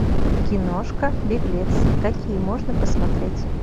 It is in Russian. киношка беглец какие можно посмотреть